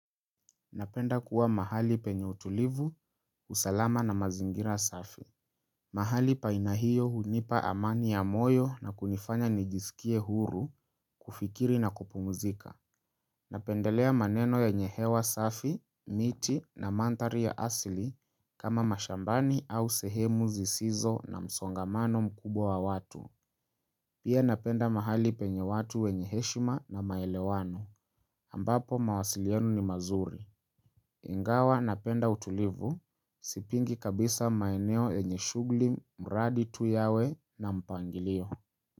Napenda kuwa mahali penye utulivu, usalama na mazingira safi. Mahali pa aina hiyo hunipa amani ya moyo na kunifanya nijiskie huru, kufikiri na kupumzika. Napendelea maneno yenye hewa safi, miti na manthari ya asili kama mashambani au sehemu zisizo na msongamano mkubwa wa watu. Pia napenda mahali penye watu wenye heshima na maelewano. Ambapo mawasiliano ni mazuri. Ingawa napenda utulivu, sipingi kabisa maeneo yenye shugli, mradi tu yawe na mpangilio.